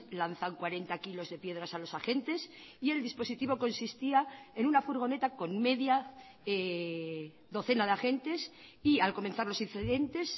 lanzan cuarenta kilos de piedras a los agentes y el dispositivo consistía en una furgoneta con media docena de agentes y al comenzar los incidentes